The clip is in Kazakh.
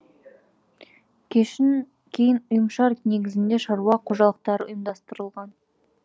кейін негізінде шаруа қожалықтары ұйымдастырылған